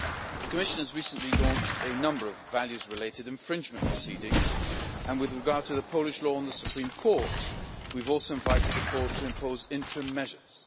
The Commission has recently launched a number of values related infringement proceedings, and with regard to the Polish Law on the Supreme Court we have also invited the Court of Justice to impose interim measures.